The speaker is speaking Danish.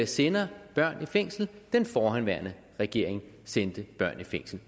sender børn i fængsel den forhenværende regering sendte børn i fængsel